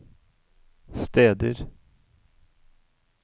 steder